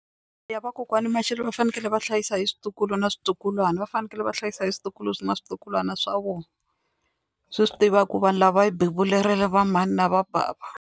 Ya vakokwani Mashele va fanekele va hlayisa hi switukulwana switukulwana va fanekele va hlayisa hi switukulwana switukulwana swa vona, swi swi tiva ku vanhu lava va hi bebulele va mhani na va bava.